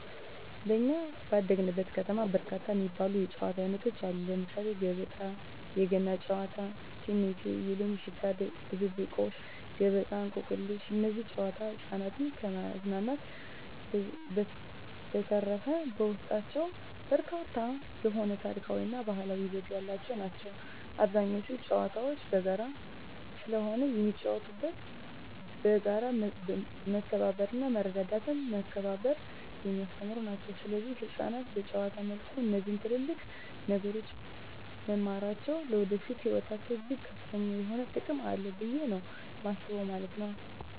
በኛ ባደግንበት ከተማ በርካታ የሚባሉ የጨዋታ አይነቶች አሉ ለምሳሌ ገበጣ: የገና ጨዋታ እቴሜቴ የሎሚ ሽታ ድብብቆሽ ገበጣ እንቆቅልሽ እነዚህ ጨዋታዎች ህፃናትን ከማዝናናት በዠተረፈ በውስጣቸው በርካታ የሆነ ታሪካዊ እና ባህላዊ ይዘት ያላቸው ናቸው አብዛኞቹ ጨዋታዎች በጋራ ስለሆነ የሚጫወተው በጋራ መተባበርና መረዳዳትና መከባበርን የሚያስተምሩ ናቸው ሰለዚህ ህፃናት በጨዋታ መልኩ እነዚህ ትልልቅ ነገሮች መማራቸው ለወደፊቱ ህይወታቸው እጅግ ከፍተኛ የሆነ ጥቅም አለው ብየ ነው የማስበው ማለት ነው።